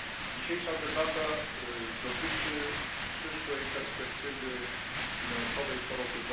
Dzisiejsza debata dotyczy przyszłej perspektywy finansowej po roku